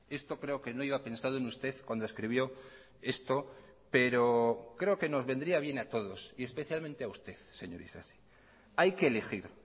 esto creo que no iba pensado en usted cuando escribió esto pero creo que nos vendría bien a todos y especialmente a usted señor isasi hay que elegir